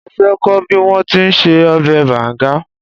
Mo fẹ́ kọ́ bí wọ́n ti ń se ọbẹ̀ banga